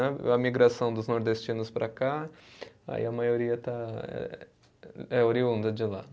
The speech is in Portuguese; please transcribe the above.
Né, a migração dos nordestinos para cá, aí a maioria está, é oriunda de lá.